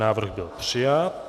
Návrh byl přijat.